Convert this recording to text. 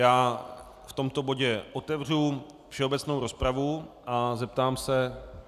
Já v tomto bodě otevřu všeobecnou rozpravu a zeptám se...